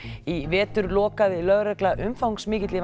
í vetur lokaði lögregla umfangsmikilli